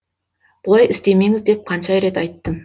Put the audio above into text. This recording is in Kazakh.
бұлай істемеңіз деп қанша рет айттым